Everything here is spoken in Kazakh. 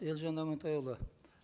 елжан амантайұлы